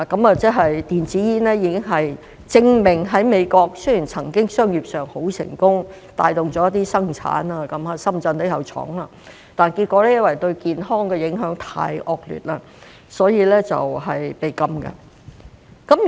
這證明了電子煙雖然曾經在美國商業上很成功，帶動了一些生產，在深圳也有設廠，但結果因為對健康的影響太惡劣，所以被禁。